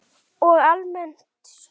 Og almennt stuð!